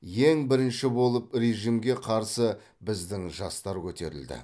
ең бірінші болып режімге қарсы біздің жастар көтерілді